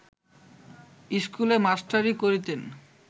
স্কুলে মাস্টারি করিতেন